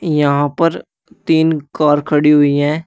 यहां पर तीन कार खड़ी हुई है।